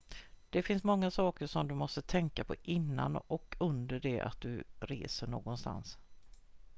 det finns många saker som du måste tänka på innan och under det att du reser någonstans